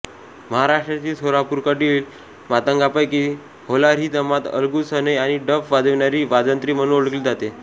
महाराष्ट्रातील सोलापूरकडील मातंगांपैकी होलार ही जमात अलगूज सनई आणि डफ वाजविणारी वाजंत्री म्हणून ओळखली जाते